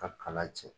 Ka kala cɛ